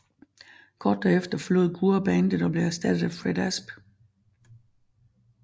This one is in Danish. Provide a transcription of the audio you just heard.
Kort derefter forlod Gurra bandet og blev erstattet af Fred Asp